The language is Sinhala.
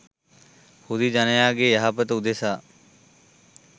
හුදී ජනයාගේ යහපත උදෙසා